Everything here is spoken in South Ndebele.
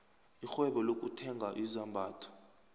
irhwebo lokuthenga izambatho